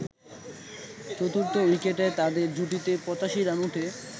চতুর্থ উইকেটে তাদের জুটিতে ৮৫ রান ওঠে।